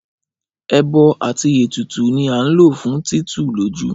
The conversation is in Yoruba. Ẹbọ àti ètùtù ni a ń lò fún títù lójú